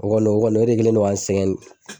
O kɔni o kɔni o de kɛlen no ka n sɛgɛn